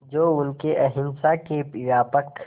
जो उनके अहिंसा के व्यापक